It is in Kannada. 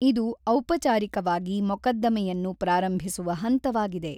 ಇದು ಔಪಚಾರಿಕವಾಗಿ ಮೊಕದ್ದಮೆಯನ್ನು ಪ್ರಾರಂಭಿಸುವ ಹಂತವಾಗಿದೆ.